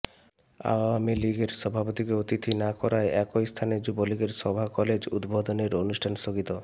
আওয়ামী লীগের সভাপতিকে অতিথি না করায় একই স্থানে যুবলীগের সভা কলেজ উদ্বোধনের অনুষ্ঠান স্থগিত